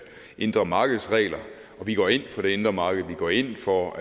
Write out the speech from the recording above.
indre marked vi går ind for det indre marked og vi går ind for